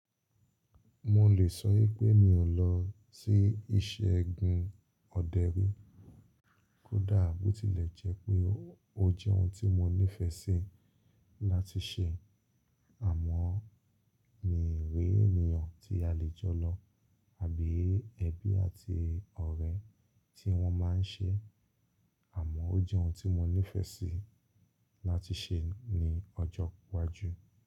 Mo lè sọwi pé mi ò lọ sí iṣẹ́ gun ọ̀dẹ rí. Kódà bó tilẹ̀ jẹ́ pé ó jẹ́ ohun tí mo nífẹ̀ẹ́ sí láti ṣe, àmọ́ mi ì ré ènìyàn tí a lè jọ lọ àbí ẹbí àti ọ̀rẹ́ tí wọ́n máa ń ṣe, àmọ́ ó jẹ́ ohun tí mo nífẹ̀ẹ́ sí láti ṣe ní ọjọ́ iwájú.